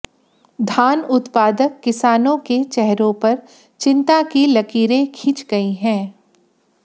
धान उत्पादक किसानों के चेहरों पर चिंता की लकीरें खिंच गई हैं